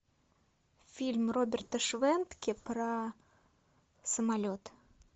фильм роберта швентке про самолет